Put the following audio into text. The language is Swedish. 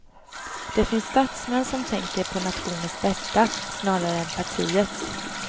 Det finns statsmän som tänker på nationens bästa, snarare än partiets.